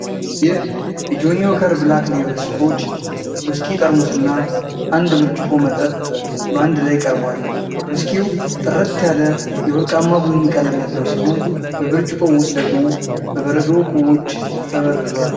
ይህ የጆኒ ዎከር ብላክ ሌብል ስኮች ውስኪ ጠርሙስና አንድ ብርጭቆ መጠጥ በአንድ ላይ ቀርቧል። ውስኪው ጥርት ባለ የወርቅማ ቡኒ ቀለም ያለው ሲሆን፣ በብርጭቆው ውስጥ ደግሞ በበረዶ ኩቦች ተበርዟል።